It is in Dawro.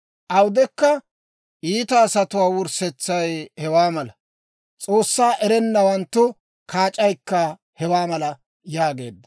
Awudekka iita asatuwaa wurssetsay hewaa mala; S'oossaa erennawanttu kaac'aykka hewaa mala» yaageedda.